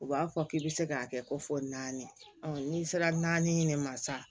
U b'a fɔ k'i bɛ se k'a kɛ ko fɔ naani n'i sera naani ɲini ma sa